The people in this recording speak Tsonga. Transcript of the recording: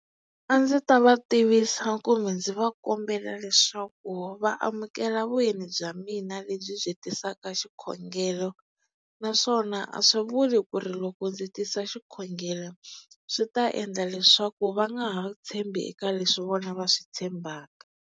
A ndzi ta va tivisa kumbe ndzi va kombela leswaku va amukela vyeni bya mina lebyi byi tisaka xikhongelo naswona a swi vuli ku ri loko ndzi tisa xikhongelo swi ta endla leswaku va nga ha tshembi eka leswi vona va swi tshembaka.